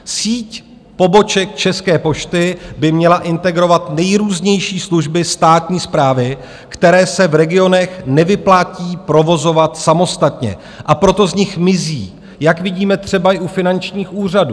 Síť poboček České pošty by měla integrovat nejrůznější služby státní správy, které se v regionech nevyplatí provozovat samostatně, a proto z nich mizí, jak vidíme třeba i u finančních úřadů.